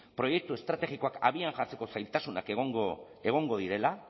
proiektu estrategikoak abian jartzeko zailtasunak egongo direla